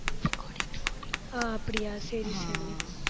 ஆஹ் அப்படியா? சரி சரி.